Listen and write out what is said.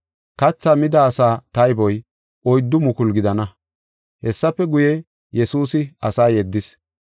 Kathaa mida asaa tayboy oyddu mukulu gidana. Hessafe guye, Yesuusi asa yeddis.